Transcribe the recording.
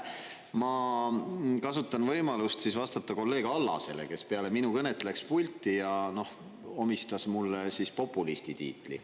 Ma kasutan võimalust vastata kolleeg Allasele, kes peale minu kõnet läks pulti ja omistas mulle populisti tiitli.